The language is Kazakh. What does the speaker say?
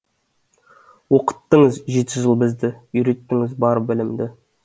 оқыттыңыз жеті жыл бізді үйреттіңіз бар білімді